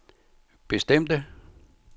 bestemte